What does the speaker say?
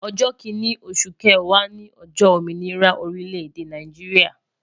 Ojo kinni osu kewaa ni ojo ominira orile-ede Naijiria